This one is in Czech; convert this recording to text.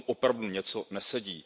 Potom opravdu něco nesedí.